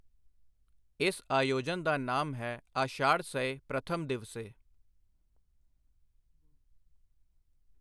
ਇਸ ਆਯੋਜਨ ਦਾ ਨਾਮ ਹੈ ਆਸ਼ਾੜਸਯ ਪ੍ਰਥਮ ਦਿਵਸੇ।